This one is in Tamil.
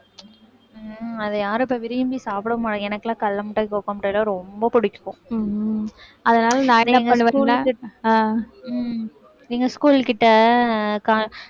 உம் அதை யாரும் இப்ப விரும்பி சாப்பிடவும் மாட்~ எனக்கெல்லாம் கடலை மிட்டாய், cocoa மிட்டாய்லாம் ரொம்ப பிடிக்கும் அதனால நானே என்ன பண்ணுவேன்னா